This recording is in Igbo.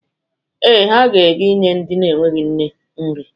Ee, ha ga-aga inye ndị enweghi nne nri.